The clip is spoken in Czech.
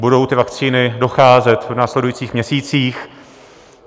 Budou ty vakcíny docházet v následujících měsících.